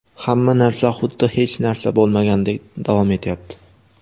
hamma narsa xuddi hech narsa bo‘lmagandek [davom etyapti].